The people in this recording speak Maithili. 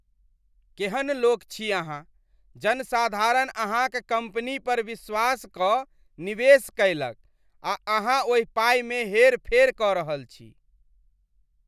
केहन लोक छी अहाँ ? जनसाधारण अहाँक कम्पनी पर विश्वास कऽ निवेश कयलक आ अहाँ ओहि पाइ मे हेर फेर कऽ रहल छी !